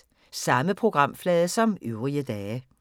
Samme programflade som øvrige dage